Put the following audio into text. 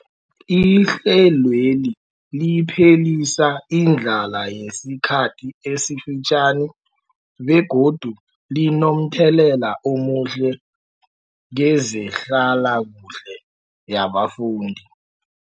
Ihlelweli liphelisa indlala yesikhathi esifitjhani begodu linomthelela omuhle kezehlalakuhle yabafundi.